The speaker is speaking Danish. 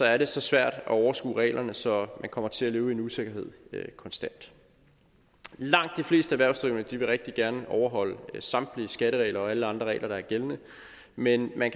er det så svært at overskue reglerne så de kommer til at leve i usikkerhed konstant langt de fleste erhvervsdrivende vil rigtig gerne overholde samtlige skatteregler og alle andre regler der er gældende men man